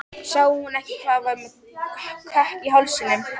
Sá hún ekki að ég var með kökk í hálsinum?